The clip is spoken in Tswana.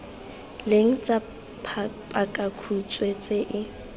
leng tsa pakakhutshwe tse e